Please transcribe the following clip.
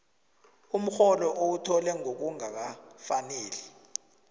umrholo owuthole ngokungakafaneli